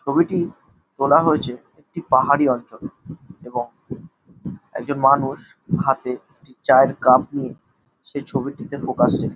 ছবিটি তোলা হয়েছে একটা পাহাড়ি অঞ্চলে এবং একজন মানুষ হাতে চায়ের কাপ নিয়ে সেই ছবিটিতে ফোকাস রেখেছে।